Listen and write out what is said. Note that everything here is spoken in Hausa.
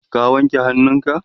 ka wanke hannunka?